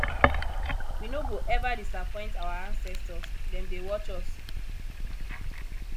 we no go eva disappoint our ancestors dem dey watch us